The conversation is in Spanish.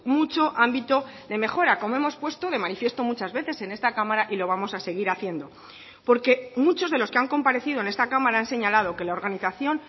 mucho ámbito de mejora como hemos puesto de manifiesto muchas veces en esta cámara y lo vamos a seguir haciendo porque muchos de los que han comparecido en esta cámara han señalado que la organización